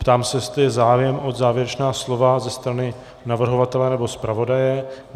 Ptám se, jestli je zájem o závěrečná slova ze strany navrhovatele nebo zpravodaje.